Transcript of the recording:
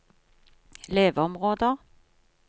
leveområder